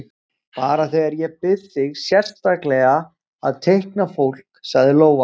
Bara þegar ég bið þig sérstaklega að teikna fólk, sagði Lóa.